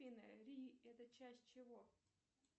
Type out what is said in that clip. афина ри это часть чего